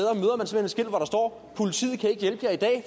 politiet kan ikke hjælpe jer i dag